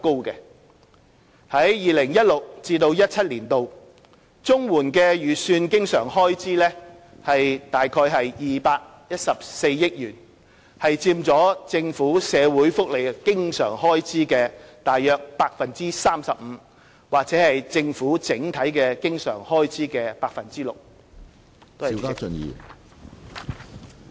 在 2016-2017 年度，綜援的預算經常開支約214億元，佔政府社會福利經常開支約 35% 或政府整體經常開支約 6%。